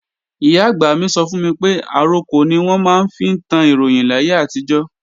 Ìyá-àgbà mi sọ fún mi pé àrokò ni wọ́n máa ń fi tán Ìròyìn láyé àtijọ́